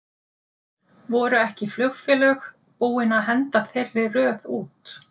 Voru ekki flugfélög búinn að henda þeirri röð út?